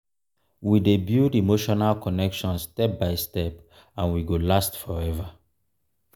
we dey build emotional connection step by step and we go last forever.